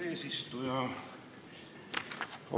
Eesistuja!